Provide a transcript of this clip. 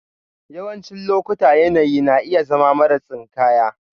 Yawancin lokuta yanayi na iya zama mara tsinkaya.